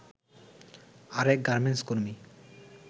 আরেক গার্মেন্টস কর্মী